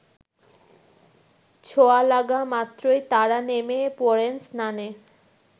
ছোঁয়ালাগা মাত্রইতারা নেমে পড়েন স্নানে